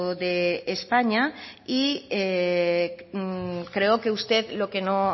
de españa y creo que usted lo que no